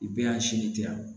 I bɛ y'a sinji tɛ yan